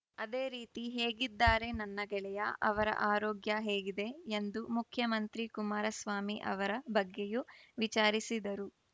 ಅದೇ ರೀತಿ ಹೇಗಿದ್ದಾರೆ ನನ್ನ ಗೆಳೆಯ ಅವರ ಆರೋಗ್ಯ ಹೇಗಿದೆ ಎಂದು ಮುಖ್ಯಮಂತ್ರಿ ಕುಮಾರಸ್ವಾಮಿ ಅವರ ಬಗ್ಗೆಯೂ ವಿಚಾರಿಸಿದರು